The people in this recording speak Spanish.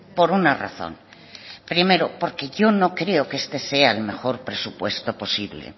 por una razón primero porque yo no creo que este sea el mejor presupuesto posible